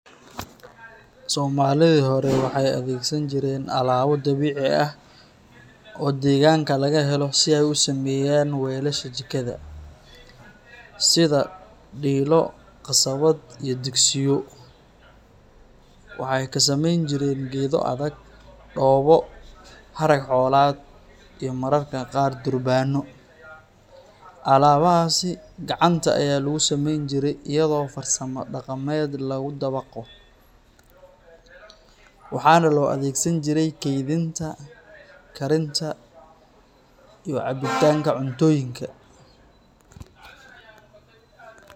Soomaalidii hore waxay adeegsan jireen alaabo dabiici ah oo deegaanka laga helo si ay u sameeyaan weelasha jikada. Sida dhiilo, qasabad, iyo digsiyo. Waxay ka samayn jireen geedo adag, dhoobo, harag xoolaad iyo mararka qaar durbaano. Alaabahaasi gacanta ayaa lagu sameyn jiray iyadoo farsamo dhaqameed lagu dabaqo, waxaana loo adeegsan jiray kaydinta, karinta, iyo cabbitaanka cuntooyinka.